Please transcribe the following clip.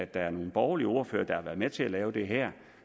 der er nogle borgerlige ordførere der har været med til at lave det her